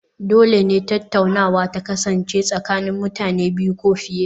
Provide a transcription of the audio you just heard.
Dole ne tattaunawa ta kasance tsakanin mutane biyu ko fiye